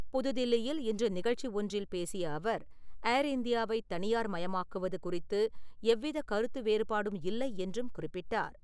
புதுதில்லியில் இன்று நிகழ்ச்சி ஒன்றில் பேசிய அவர், ஏர் இந்தியாவை தனியார் மயமாக்குவது குறித்து எவ்வித கருத்து வேறுபாடும் இல்லை என்றும் குறிப்பிட்டார்.